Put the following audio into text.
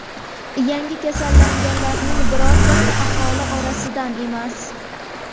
Yangi kasallanganlarning birortasi aholi orasidan emas.